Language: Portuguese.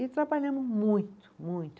E trabalhamos muito, muito.